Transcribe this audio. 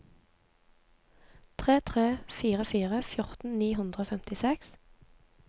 tre tre fire fire fjorten ni hundre og femtiseks